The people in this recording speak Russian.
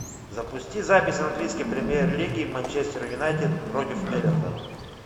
запусти запись английской премьер лиги манчестер юнайтед против эвертона